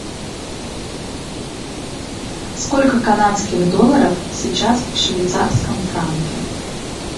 сколько канадских долларов сейчас в швейцарском франке